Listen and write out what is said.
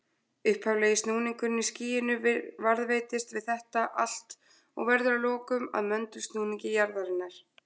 Upphaflegi snúningurinn í skýinu varðveitist við þetta allt og verður að lokum að möndulsnúningi jarðarinnar.